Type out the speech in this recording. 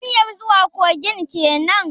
Hanyar zuwa kogin kenan?